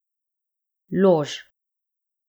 Lož.